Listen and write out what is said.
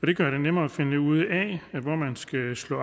det gør det nemmere at finde ud af hvor man skal slå